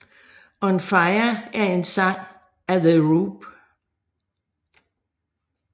On Fire er en sang af The Roop